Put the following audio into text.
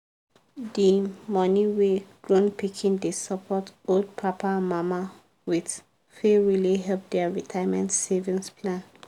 the money wey grown pikin dey support old papa and mama with fit really help their retirement savings plan.